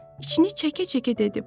İçini çəkə-çəkə dedi: